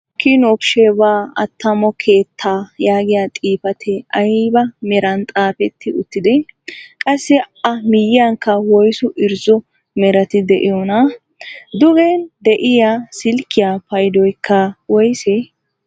'Kiwin of sheebaa' attamo keettaa yaagiyaa xifatee ayba meran xaafetti uttidee? qassi a miyiyaanikka woyssu irzzo merati de'iyoonaa? Dugen de'iyaa silkkiyaa paydoykka woysee?